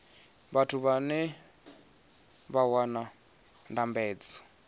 vhathu vhane vha wana ndambedzo